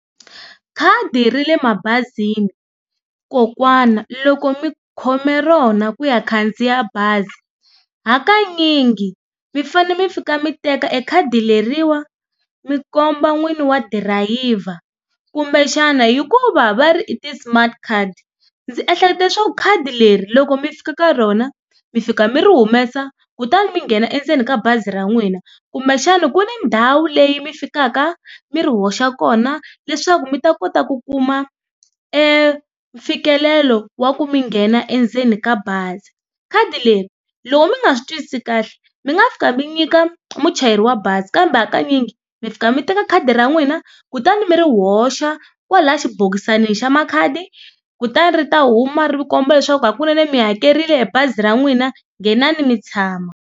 Khadi ra le mabazini kokwana loko mi khome rona ku ya khandziya bazi hakanyingi mi fanele mi fika mi teka e khadi leriwa mi komba n'wini wa dirayiva kumbe xana hikuva va ri i ti-smart card ndzi ehlekete swo khadi leri loko mi fika ka rona mi fika mi ri humesa kutani mi nghena endzeni ka bazi ra n'wina kumbe xana ku ni ndhawu leyi mi fikaka mi ri hoxa kona leswaku mi ta kota ku kuma mfikelelo wa ku mi nghena endzeni ka bazi. Khadi leri loko mi nga swi twisisi kahle mi nga fika mi nyika muchayeri wa bazi kambe hakanyingi mi fika mi teka khadi ra n'wina kutani mi ri hoxa kwala xibokisanini xa makhadi kutani ri ta huma ri komba leswaku hakunene mi hakerile bazi ra n'wina nghenani mi tshama.